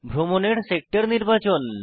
ভ্রমণের সেক্টর নির্বাচন